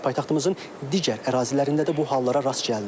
Paytaxtımızın digər ərazilərində də bu hallara rast gəlinir.